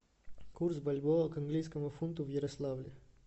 курс бальбоа к английскому фунту в ярославле